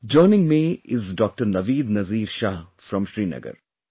Joining me is Dr Naveed Nazeer Shah from Srinagar